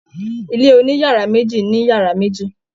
Ilé oniyara meji ni yara meji.